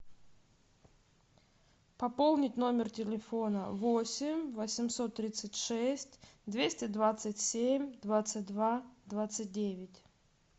пополнить номер телефона восемь восемьсот тридцать шесть двести двадцать семь двадцать два двадцать девять